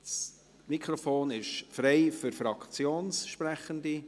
Das Mikrofon ist frei für Fraktionssprechende.